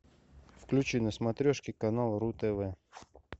включи на смотрешке канал ру тв